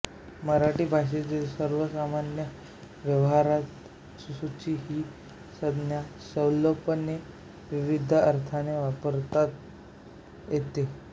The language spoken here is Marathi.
मराठी भाषेतील सर्वसामान्य व्यवहारात सूची ही संज्ञा सैलपणे विविध अर्थांनी वापरण्यात येते